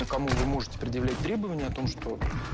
а кому вы можете предъявлять требования о том что